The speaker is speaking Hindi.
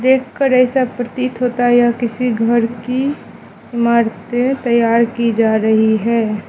देख कर ऐसा प्रतीत होता यह किसी घर की इमारतें तैयार की जा रही है।